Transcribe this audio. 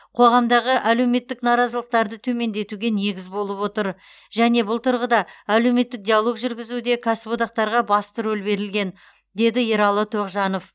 қоғамдағы әлеуметтік наразылықтарды төмендетуге негіз болып отыр және бұл тұрғыда әлеуметтік диалог жүргізуде кәсіподақтарға басты рөл берілген деді ералы тоғжанов